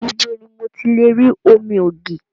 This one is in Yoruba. Ibo ni mo ti lè rí omi ògì?